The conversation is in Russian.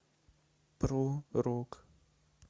про рок